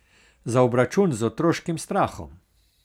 Za obračun z otroškim strahom.